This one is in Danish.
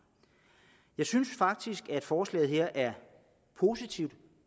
jeg synes faktisk at forslaget er positivt